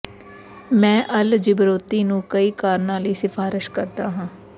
ਮੈਂ ਅਲ ਜਿਬਰੋਤੀ ਨੂੰ ਕਈ ਕਾਰਣਾਂ ਲਈ ਸਿਫਾਰਸ਼ ਕਰਦਾ ਹਾਂ